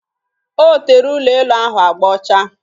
O tere ụlọ elu ahụ agba ọcha